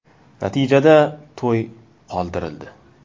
Natijada to‘y qoldirildi.